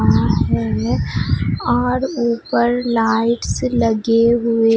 हैं और ऊपर लाइट्स लगे हुए--